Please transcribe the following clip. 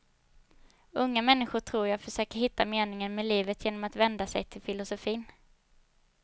Unga människor tror jag försöker hitta meningen med livet genom att vända sig till filosofin.